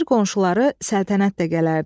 Ara bir qonşuları Səltənət də gələrdi.